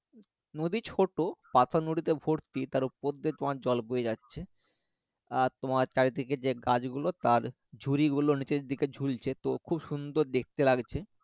নদী ছোট পাথর নুড়িতে ভর্তী তার উপর দিয়ে তোমার জল বয়ে যাচ্ছে আর তোমার চারিদিকে যে গাছ গুলো তার ঝুড়ি গুলো নিচের দিকে ঝুলছে তো খুব সুন্দর দেখতে লাগছে